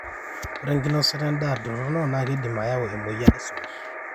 ore enkinosota endaa torrono naa keidim neyau emoyian esumash